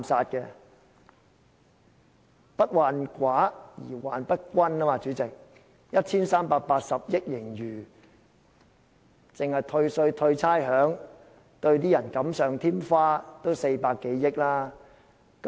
主席，所謂"不患寡而患不均"，香港政府有 1,380 億元盈餘，單是退稅、退差餉、對一些人士"錦上添花"也使用了400多億元。